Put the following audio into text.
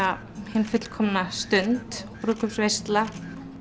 hin fullkomna stund brúðkaupsveisla